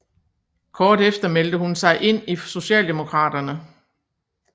Kort efter meldte hun sig ind i Socialdemokraterne